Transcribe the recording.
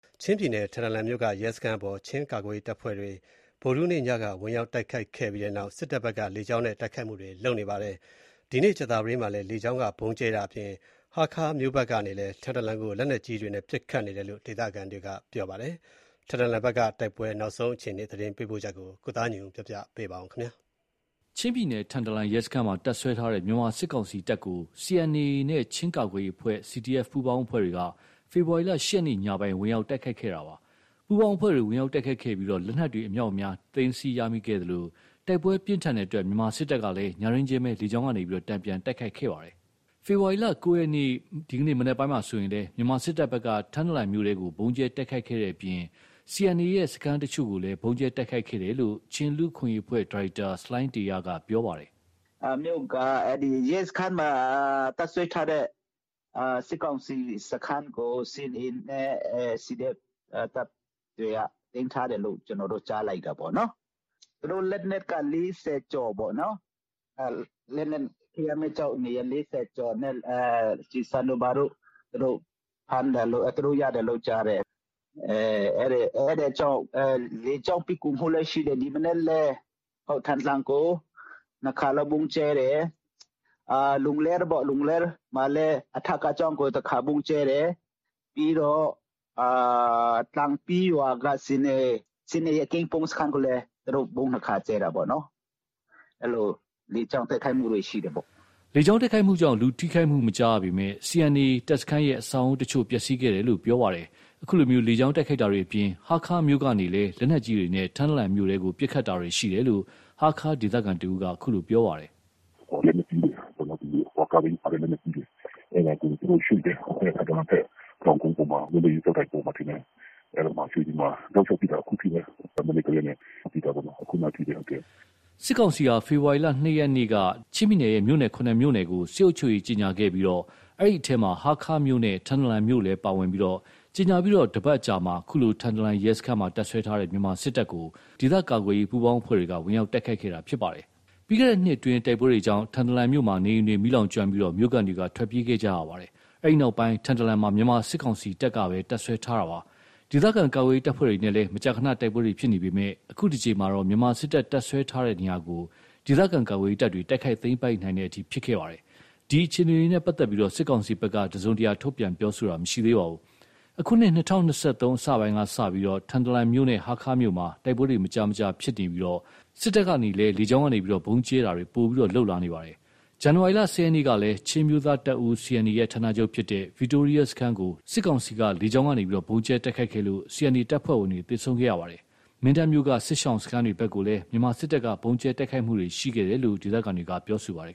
ချင်းပြည်နယ် ထန်တလန်မြို့က ရဲစခန်းကို ချင်းကာကွယ်ရေးတပ်ဖွဲ့တွေက ဝင်ရောက်တိုက်ခိုက်သိမ်းပိုက်ခဲ့ပြီးနောက် မြန်မာစစ်တပ်နဲ့ တိုက်ပွဲပြင်းထန်နေပြီး၊ စစ်ကောင်စီဖက်က လေကြောင်းကနေ ဗုံးကြဲတိုက်ခိုက်နေပါတယ်။ ချင်းပြည်နယ် မြို့တော်ဖြစ်တဲ့ ဟားခါးကနေလည်း ထန်တလန်ကို လက်နက်ကြီးတွေနဲ့ ပစ်ခတ်နေတယ်လို့ ဒေသခံတွေက ပြောပါတယ်။ ချင်းပြည်နယ်တွင်း တိုက်ပွဲအခြေအနေ သတင်းပေးပို့ချက်ကို ကိုသားညွန့်ဦး ပြောပြမှာပါ။ ချင်းပြည်နယ် ထန်တလန်ရဲစခန်းမှာ တပ်စွဲထားတဲ့ မြန်မာစစ်ကောင်စီတပ်ကို CNA နဲ့ ချင်းကာကွယ်ရေးအဖွဲ့ CDF ပူးပေါင်းအဖွဲ့တွေက ဖေဖော်ဝါရီ ၈ ရက် ညပိုင်းမှာ ဝင်ရောက်တိုက်ခိုက်ခဲ့တာပါ။ ပူးပေါင်းအဖွဲ့တွေ ဝင်ရောက်တိုက်ခိုက်ခဲ့ပြီး လက်နက်တွေအများအပြားကိုလည်း သိမ်းဆည်းရမိခဲ့သလို တိုက်ပွဲပြင်းထန်တဲ့အတွက် မြန်မာစစ်တပ်က ညတွင်းချင်း လေကြောင်းကနေ တန်ပြန် တိုက်ခိုက်ခဲ့ပါတယ်။ ဖေဖော်ဝါရီ ၉ ရက် မနက်ပိုင်းမှာဆိုရင်လည်း မြန်မာစစ်တပ်ဘက်က ထန်တလန်မြို့ထဲကို ဗုံးကြဲတိုက်ခိုက်ခဲ့တဲ့အပြင် CNA ရဲ့ စခန်းအချို့ကိုလည်း ဗုံးကြဲတိုက်ခိုက်ခဲ့တယ်လို့ ချင်းလူ့အခွင့်အရေးအဖွဲ့ ဒါရိုက်တာ ဆလိုင်းတေရက ပြောပါတယ်။ “ရဲစခန်းမှာ တပ်စွဲထားတဲ့ စစ်ကောင်စီစခန်းကို CNA နဲ့ CDF တပ်တွေက သိမ်းထားတယ်လို့ ကျွန်တော်တို့ ကြားလိုက်တာပေါ့။ သူတို့လက်နက် ၄၀ ကျော်ပေါ့ ခဲရမ်းမီးကျောက်တွေနဲ့ ကျည်ဆံတွေဘာတွေကို သူတို့ရတယ်လို့ ကြားတယ်။ အဲ့ဒါကြောင့် လေကြောင်းပစ်ကူရှိခဲ့တယ်။ ဒီမနက်လည်း ထန်တလန်ကို ၂ ခါလောက် ဗုံးကြဲတယ်။ လူလဲမှာလည်း အထက ကျောင်းကို တခါ ဗုံးကြဲတယ်။ ပြီးတော့ လန်ပီးရွာက CNA စခန်းကိုလည်း သူတို့ဗုံး ၂ ခါကြဲတာပေါ့။ အဲ့လို လေကြောင်းတိုက်ခိုက်မှုတွေရှိတာပေါ့။” လေကြောင်းတိုက်ခိုက်မှုကြောင့် လူထိခိုက်မှုမကြားရပေမယ့်၊ CNA တပ်စခန်းရဲ့ အဆောက်အဦးတချို့ ပျက်စီးခဲ့တယ်လို့လည်းပြောပါတယ်။ အခုလို လေကြောင်းတိုက်ခိုက်တာတွေအပြင် ဟားခါးမြို့ကနေလည်း လက်နက်ကြီးတွေနဲ့ ထန်တလန်မြို့ထဲကို ပစ်ခတ်တာတွေ ရှိနေတယ်လို့ ဟားခါးဒေသခံတဦးက အခုလို ပြောပါတယ်။ “လက်နက်ကြီးတွေ ကားဘီးပါတဲ့ လက်နက်ကြီးတွေပေါ့နော်။ အဲ့ဒါကို သူတို့ရွှေ့တယ်။ ထန်တလန်ဘက် တောင်ကုန်းပေါ်မှာ လွတ်လပ်ရေး ကျောက်တိုင်ဘက်မှာထင်တယ် အဲ့ဒီမှာရွှေ့ပြီးမှ တောက်လျှောက်ပစ်တာ အခုထိပဲ။ မနက်ကတည်းကနေပစ်တာပေါ့ ခုနကအထိပဲ။” စစ်ကောင်စီဟာ ဖေဖော်ဝါရီ ၂ ရက်က ချင်းပြည်နယ်ရဲ့ မြို့နယ် ၇ မြို့ကို စစ်အုပ်ချုပ်ရေးကြေငြာခဲ့ပြီး အဲ့ဒီ့အထဲမှာ ဟားခါးမြို့နဲ့ ထန်တလန်မြို့တို့လည်း ပါဝင်ပြီး ကြေငြာပြီး တပတ်အကြာမှာ ထန်တလန်ရဲစခန်းမှာ တပ်စွဲထားတဲ့ မြန်မာစစ်တပ်ကို ပူးပေါင်းအဖွဲ့တွေက ဝင်ရောက်တိုက်ခိုက်ခဲ့တာ ဖြစ်ပါတယ်။ ပြီးခဲ့တဲ့နှစ်အတွင်း တိုက်ပွဲတွေကြောင့် ထန်တလန်မြို့မှာ နေအိမ်တွေ မီးလောင်ကျွမ်းပြီး မြို့ခံတွေထွက်ပြေးခဲ့ကြရပါတယ်။ အဲဒီနောက် ထန်တလန်မှာ မြန်မာစစ်ကောင်စီတပ်ကပဲ တပ်စွဲထားတာပါ။ ဒေသခံကာကွယ်ရေး တပ်ဖွဲ့တွေနဲ့ မကြာခဏ တိုက်ပွဲတွေ ဖြစ်နေပေမယ့်၊ အခုတကြိမ်မှာတော့ မြန်မာစစ်တပ် တပ်စွဲထားတဲ့နေရာကို ဒေသခံကာကွယ်ရေးတပ်တွေ တိုက်ခိုက်သိမ်းပိုက်နိုင်တဲ့အထိ ဖြစ်ခဲ့တာပါ။ ဒီအခြေအနေတွေနဲ့ ပတ်သက်လို့တော့ စစ်ကောင်စီဘက်က သတင်းထုတ်ပြန်တာတော့ မရှိသေးပါဘူး။ အခုနှစ် ၂၀၂၃ အစပိုင်းကစလို့ ထန်တလန်မြို့နဲ့ ဟားခါးမြို့မှာ တိုက်ပွဲတွေ မကြာခဏဖြစ်ပွားနေပြီး စစ်တပ်ဘက်ကလည်း လေကြောင်းကနေ ဗုံးကြဲတာတွေ ပိုမိုပြုလုပ်လာနေပါတယ်။ ဇန်နဝါရီ ၁၀ ရက်ကလည်း ချင်းအမျိုးသားတပ်ဦး CNA ရဲ့ ဌာနချုပ်ဖြစ်တဲ့ ဗစ်တိုးရီးယား စခန်းကို လေကြောင်းကနေ ဗုံးကြဲတိုက်ခိုက်ခဲ့လို့ CNA တပ်ဖွဲ့ဝင်တွေ သေဆုံးခဲ့ပါတယ်။ မင်းတပ်မြို့က စစ်ရှောင်စခန်းတွေဘက်ကိုလည်း မြန်မာ စစ်တပ်က ဗုံးကြဲတိုက်ခိုက်ခဲ့တာတွေရှိခဲ့တယ်လို့ ဒေသခံတွေကပြောပါတယ်